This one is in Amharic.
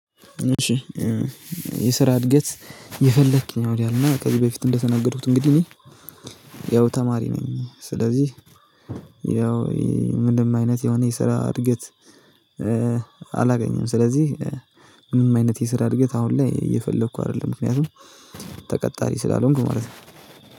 እሺ የስራ እድገት እየፈለኩ ነው። እና ከዚ በፊትም እንደተናገርኩት ያው ተማሪ ነኝ። ስለዚህ ምንም አይነት የሆነ የስራ እድገት አላገኝም። ስለዚህ ምንም አይነት የስራ እድገት አሁን ላይ እየፈለኩ አደለም ምክኛቱም ተቀታሪ ስላልሆንኩ ማለት ነው